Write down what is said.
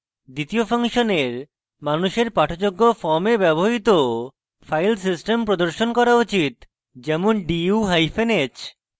দ্বিতীয় ফাংশনের মানুষের পাঠযোগ্য form ব্যবহৃত filesystem প্রদর্শন করা উচিত যেমন: du hyphen h